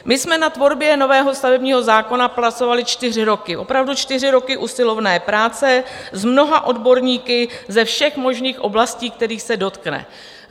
My jsme na tvorbě nového stavebního zákona pracovali čtyři roky, opravdu čtyři roky usilovné práce s mnoha odborníky ze všech možných oblastí, kterých se dotkne.